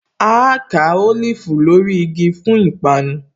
Áá ká Olifu lórí igi fún ìpanu